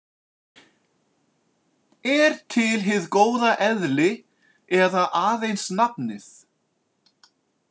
Er til hið góða eðli eða aðeins nafnið?